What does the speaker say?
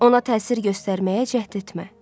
Ona təsir göstərməyə cəhd etmə.